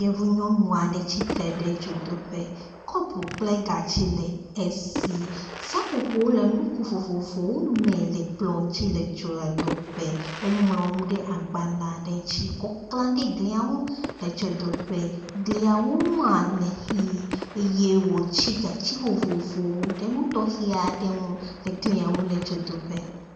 Yevu nyɔnu aɖe tsitre ɖe dzodoƒe, kɔpu kple gatsi le esi, seƒoƒowo le nugo vovovowo me le kplɔ ŋuti le dzodoƒe. Eŋlɔ nu ɖe agbalẽ aɖe dzi kɔ kle ɖe glia ŋu le dzoadoƒe. Gliawo ŋua, le ʋɛ̃ eye wòtsi gatsi vovovowo ɖe nu tɔxe aɖe ŋu le dzodoƒe.